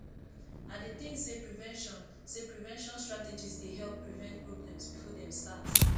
i dey think say prevention say prevention strategies dey help prevent problems before dem start